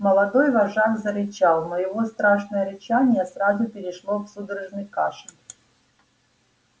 молодой вожак зарычал но его страшное рычание сразу перешло в судорожный кашель